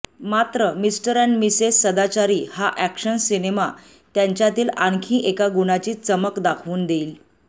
मात्र mister and missus सदाचारी हा अॅक्शन सिनेमा त्यांच्यातील आणखी एका गुणाची चमक दाखवून देईन